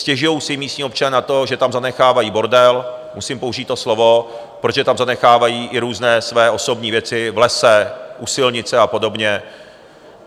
Stěžují si místní občané na to, že tam zanechávají bordel, musím použít to slovo, protože tam zanechávají i různé své osobní věci v lese, u silnice a podobně.